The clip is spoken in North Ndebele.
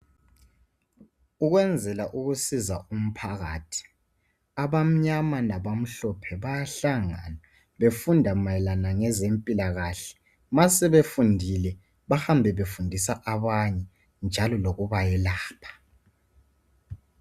okwenzela ukusiza umphakathi abamnyama labamhlophe bayahlangana befunda mayelana ngokwezimpilokahle masebefundile bahambe befunisa abanye njalo lokubayelapha